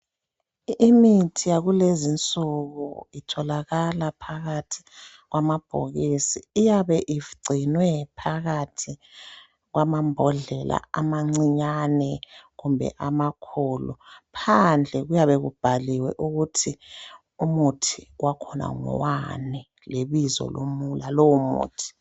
imithi yakulezi insuku itholakala phakathi kwamabhokisi iyabe igcinwe phakathi kwamambodlela amancinyane kumbe amakhulu phandle kuyabe kubhaliwe ukuthi umuthi wakhona ngowani lebizo lalowo muthi